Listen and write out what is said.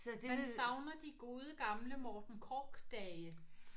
Man savner de gode gamle Morten Korch-dage